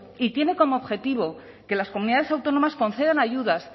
y tiene como objetivo que las comunidades autónomas concedan ayudas